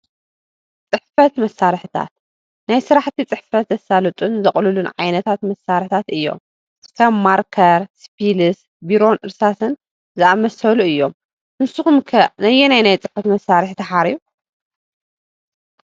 ፅሕፈት መሳርሕታት፡- ናይ ስራሕቲ ፅሕፈት ዘሳልጡልን ዘቕሉልን ዓይነታት መሳርሕታት እዮም፡፡ ከም ማርከር፣ ስፒልስ፣ ቢሮን እርሳስን ዝኣመሰሉ እዮም፡፡ ንስኹም ከ ነየናይ ናይ ፅሕፈት መሳርሒ ትሓርዩ?